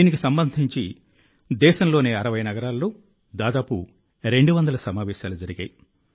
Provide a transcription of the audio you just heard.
దీనికి సంబంధించి దేశంలోని 60 నగరాల్లో దాదాపు 200 సమావేశాలు జరిగాయి